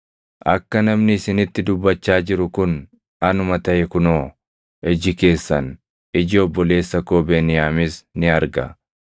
“Akka namni isinitti dubbachaa jiru kun anuma taʼe kunoo, iji keessan, iji obboleessa koo Beniyaamis ni arga.